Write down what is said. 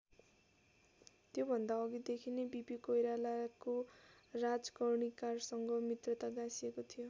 त्योभन्दा अघिदेखि नै बिपी कोइरालाको राजकर्णिकारसँग मित्रता गाँसिएको थियो।